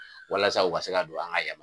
Walasa o ka se ka don an ka